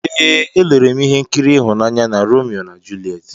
Ee, elere m ihe nkiri ịhụnanya na Romeo na Juliet.